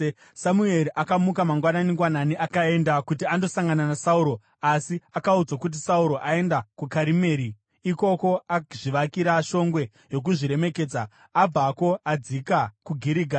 Samueri akamuka mangwanani-ngwanani akaenda kuti andosangana naSauro, asi akaudzwa kuti, “Sauro aenda kuKarimeri. Ikoko azvivakira shongwe yokuzviremekedza, abvako akadzika kuGirigari.”